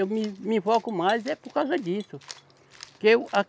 Eu me, me invoco mais é por causa disso. Porque eu a